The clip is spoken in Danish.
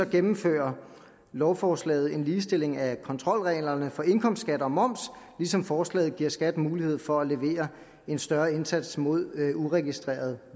gennemfører lovforslaget en ligestilling af kontrolreglerne for indkomstskat og moms ligesom forslaget giver skat mulighed for at levere en større indsats mod uregistreret